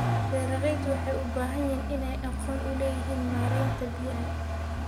Beeraleydu waxay u baahan yihiin inay aqoon u leeyihiin maareynta biyaha.